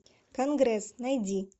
конгресс найди